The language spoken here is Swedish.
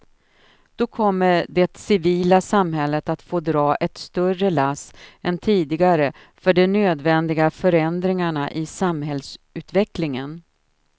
Då kommer det civila samhället att få dra ett större lass än tidigare för de nödvändiga förändringarna i samhällsutvecklingen.